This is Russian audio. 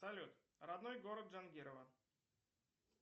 салют родной город джангирова